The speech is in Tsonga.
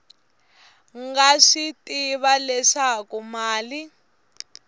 nga swi tivi leswaku mali